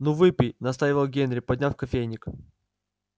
ну выпей настаивал генри подняв кофейник